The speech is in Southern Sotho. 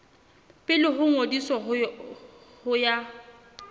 pele ho ngodiso ho ya